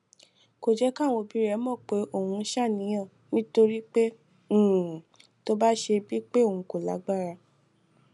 kò jé káwọn òbí rè mò pé òun ń ṣàníyàn nítorí pé um tó bá ṣe bíi pé òun kò lágbára